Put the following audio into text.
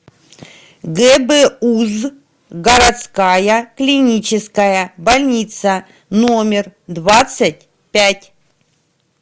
гбуз городская клиническая больница номер двадцать пять